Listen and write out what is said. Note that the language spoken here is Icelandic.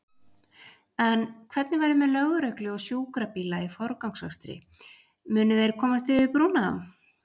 En hvernig verður með lögreglu og sjúkrabíla í forgangsakstri, munu þeir komast yfir brúna?